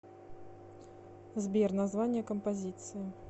сбер название композиции